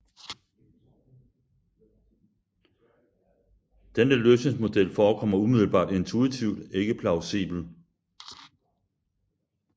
Denne løsningsmodel forekommer umiddelbart intuitivt ikke plausibel